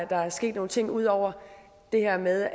der er sket nogle ting ud over det her med